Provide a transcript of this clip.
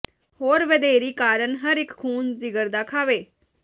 ਹੋਰ ਵਧੇਰੀ ਕਾਰਨ ਹਰ ਇਕ ਖ਼ੂਨ ਜਿਗਰ ਦਾ ਖਾਵੇ